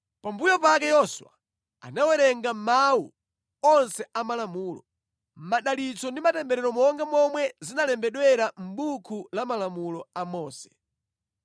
Pambuyo pake Yoswa anawerenga mawu onse a malamulo, madalitso ndi matemberero monga momwe zinalembedwera mʼbuku la malamulo a Mose.